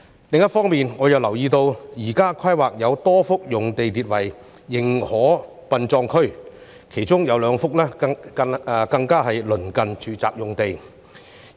另一方面，我亦留意到在現時的規劃中，有多幅用地列作"認可殯葬區"，其中有兩幅更鄰近住宅用地。